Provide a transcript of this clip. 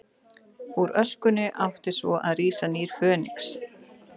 Úr öskunni átti svo að rísa nýr Fönix.